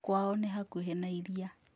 Kwao nĩ hakuhĩ na iria